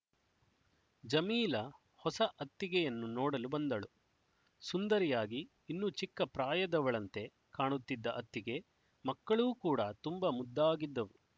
ಜಮೀಲ ಹೊಸ ಅತ್ತಿಗೆಯನ್ನು ನೋಡಲು ಬಂದಳು ಸುಂದರಿಯಾಗಿ ಇನ್ನೂ ಚಿಕ್ಕ ಪ್ರಾಯದವಳಂತೆ ಕಾಣುತ್ತಿದ್ದ ಅತ್ತಿಗೆ ಮಕ್ಕಳೂ ಕೂಡಾ ತುಂಬಾ ಮುದ್ದಾಗಿದ್ದವು